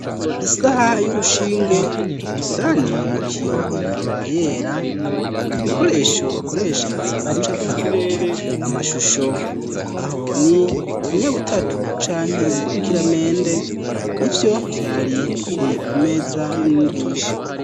Isaha y'urushinge ndani mu kiyo ikaba yera ibikoresho bakoresha mu gucapa amashusho aho ni inyabutatu canke urukiramende nivyo vyari biri ku meza y'umwigisha.